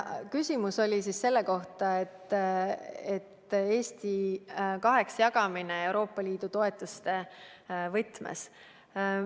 Küsimus oli siis selle kohta, kas jagada Eesti kaheks Euroopa Liidu toetuste võtmes.